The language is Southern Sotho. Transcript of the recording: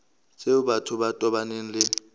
tseo batho ba tobaneng le